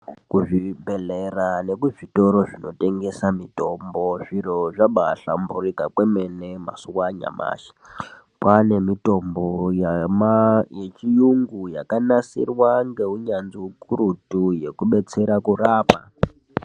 Kuzvibhedhlera nekuzvitoro zvinotengese mitombo zviro zvabaahlamburika kwemene mazuwa anyamashi. Kwane mitombo yechiungu yakanasirwa ngeunyanzvi ukurutu kubetsera kurapa.